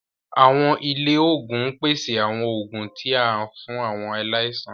Awọn ilé oògùn n pèsè àwon oògùn tí a fún awọn aláìsàn.